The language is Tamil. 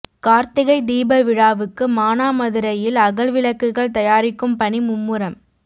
காா்த்திகை தீப விழாவுக்கு மானாமதுரையில் அகல் விளக்குகள் தயாரிக்கும் பணி மும்முரம்